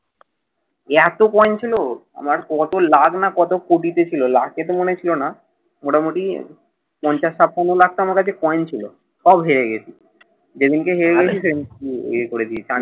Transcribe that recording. এতো coin ছিল, আমার কত লাখ না কত কোটিতে ছিল। লাখেতে মনে হয় ছিল না। মোটামুটি পঞ্চাশটা পনেরো লাখটার মতো coin ছিল। সব হেরে গেছে। যেদিনকা হেরেছি সেদিনকে ইয়ে করে দিয়েছি।